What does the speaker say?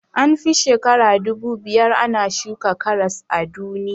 An fi shekara dubu biyar ana shuka karas a duniya